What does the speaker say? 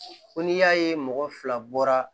Ko n'i y'a ye mɔgɔ fila bɔra